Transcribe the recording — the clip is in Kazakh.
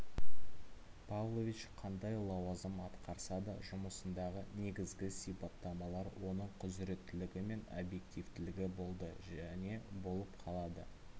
павлович қандай лауазым атқарсада жұмысындағы негізгі сипаттамалар оның құзыреттілігі мен объективтілігі болды және болып қалады